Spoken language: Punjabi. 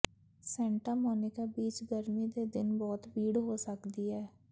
ਸੈਂਟਾ ਮੋਨੀਕਾ ਬੀਚ ਗਰਮੀ ਦੇ ਦਿਨ ਬਹੁਤ ਭੀੜ ਹੋ ਸਕਦੀ ਹੈ